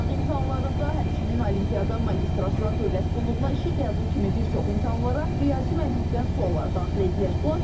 Sınaq imtahanlarında, həmçinin olimpiada, magistratura, dövlət qulluğuna işə qəbul kimi bir çox imtahanlara riyazi məntiqdən suallar daxil edilir.